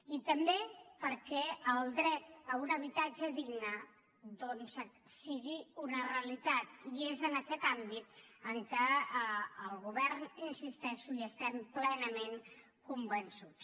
i també perquè el dret a un habitatge digne doncs sigui una realitat i és en aquest àmbit en què el govern hi insisteixo estem plenament convençuts